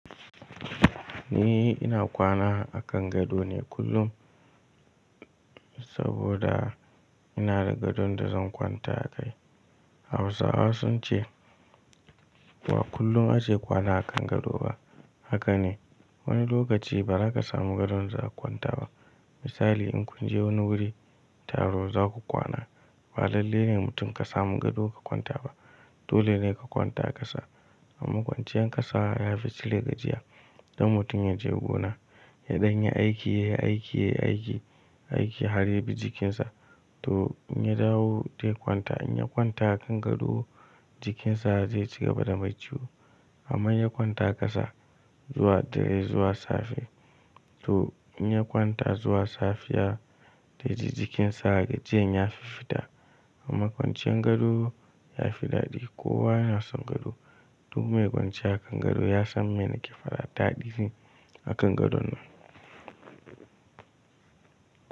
Ni ina kwana a kan gado ne kullum saboda ina da gadon da zan kwanta a kai. Hausawa sun ce ba kullum ake kwana a kan gado ba. Haka ne, wani lokaci ba za ka samu gadon za ka kwanta ba. Misali in kun je wani wuri taro za ku kwana, ba lallai ne mutum ka samu gado ka kwanta ba. Dole ne ka kwanta ƙasa. Amma kwanciyar ƙasa ya fi cire gajiya. Dan mutum ya je gona, yaɗan yi aiki, ya yi aiki, ya yi aiki, aiki har yabi jikinsa, to in ya dawo dai kwanta, in ya kwanta a kan gado jikinsa zai ci gaba da mai ciwo. Amma in ya kwanta ƙasa zuwa dare zuwa safe, to in ya kwanta zuwa safiya dai ji jikinsa gajiyen ya fi fita. Kuma kwanciyar gado ya fi daɗi. Kowa yana son gado. Duk mai kwanciya a kan gado ya san me nake faɗa, daɗi ne a kan gadon nan.